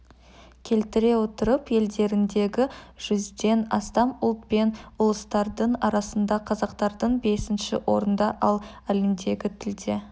келтіре отырып елдеріндегі жүзден астам ұлт пен ұлыстардың арасында қазақтардың бесінші орында ал әлемдегі тілде